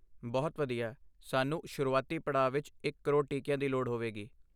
ਬਹੁਤ ਵਧੀਆ ਸਾਨੂੰ ਸ਼ੁਰੂਆਤੀ ਪੜਾਅ ਵਿੱਚ ਇਕ ਕਰੋੜ ਟੀਕੀਆਂ ਦੀ ਲੋੜ ਹੋਵੇਗੀ